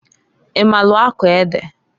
I maalụ akọ ede?